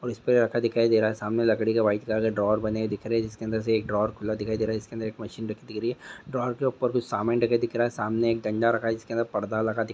उसपे लड़का दिखाई दे रहा है सामने लकड़ी का व्हाइट कलर का ड्रोवर बना दिख रहा है जिसमे से एक ड्रोवर खुला दिखाई दे रहा है उसके अंदर एक मसिन रखी दे रही है ड्रोवर के ऊपर कूच समान ढका दिख रहा है सामने एक डंडा रखा जिसने अंदर पडदा लगा दी--